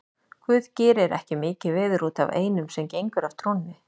Guð gerir ekki mikið veður út af einum sem gengur af trúnni.